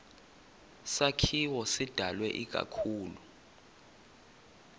sakhiwo sidalwe ikakhulu